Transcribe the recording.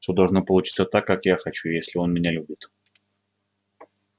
всё должно получиться так как я хочу если он меня любит